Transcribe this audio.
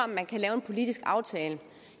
man kan lave en politisk aftale